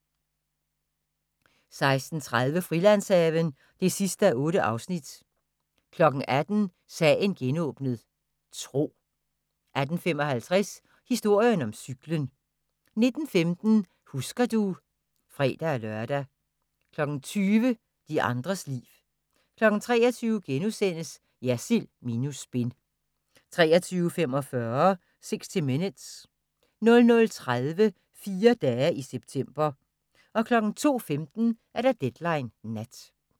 16:30: Frilandshaven (8:8) 18:00: Sagen genåbnet: Tro 18:55: Historien om cyklen 19:15: Husker du ... (fre-lør) 20:00: De andres liv 23:00: Jersild minus spin * 23:45: 60 Minutes 00:30: Fire dage i september 02:15: Deadline Nat